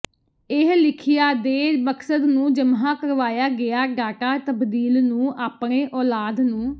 ਇਹ ਲਿਖਿਆ ਦੇ ਮਕਸਦ ਨੂੰ ਜਮ੍ਹਾ ਕਰਵਾਇਆ ਗਿਆ ਡਾਟਾ ਤਬਦੀਲ ਨੂੰ ਆਪਣੇ ਔਲਾਦ ਨੂੰ